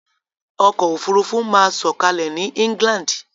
Ọkọ̀ òfurufú máa sọ̀kalẹ̀ ní England.